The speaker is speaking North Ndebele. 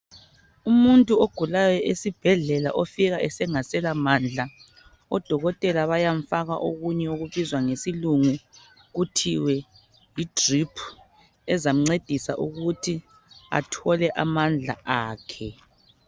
Umuntu ogulayo esibhedlela ofika engaselamandla odokotela bayamfaka okunye okubizwa ngesilungu kuthiwe yi drip ezamncedisa ukuthi athole amandla akhe.